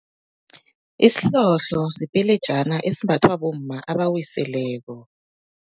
Isihlohlo sipelejana esimbathwa bomma abawiseleko.